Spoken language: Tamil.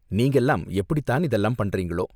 நீங்கலாம் எப்படிதான் இதெல்லாம் பண்றீங்களோ?